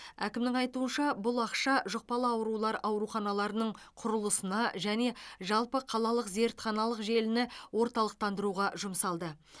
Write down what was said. әкімнің айтуынша бұл ақша жұқпалы аурулар ауруханаларының құрылысына және жалпы қалалық зертханалық желіні орталықтандыруға жұмсалды